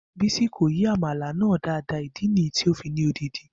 Bisi ko yi amala naa daadaa idi niyi ti o fi ni odidi.